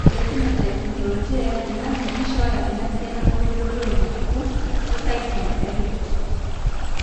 ore ephenotype ontology etung'ani neishooyo enasiana oorbulabul onaapuku esindirom eRett.